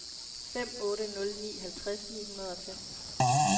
fem otte nul ni halvtreds ni hundrede og fem